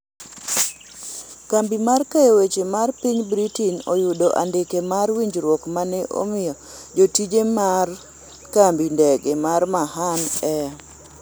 kambi mar keyo weche mar piny Britain oyudo andike mar winjruok mane omi jotije mar kambi ndege ma Mahan Air